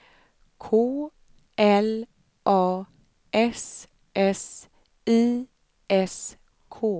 K L A S S I S K